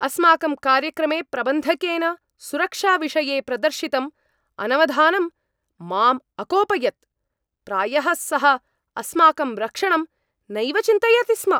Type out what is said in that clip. अस्माकं कार्यक्रमे प्रबन्धकेन सुरक्षाविषये प्रदर्शितम् अनवधानम् माम् अकोपयत्। प्रायः सः अस्माकं रक्षणं नैव चिन्तयति स्म!